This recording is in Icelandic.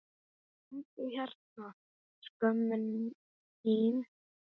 Komdu hérna skömmin þín!